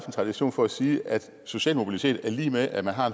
tradition for at sige at social mobilitet er lig med at man har